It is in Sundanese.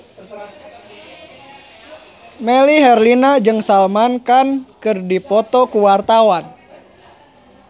Melly Herlina jeung Salman Khan keur dipoto ku wartawan